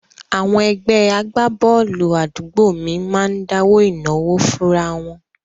Àwọn ẹgbẹ́ agbábọ́ọ̀lù àdúgbò mi máa ń dáwó ìnáwó fúnra wọn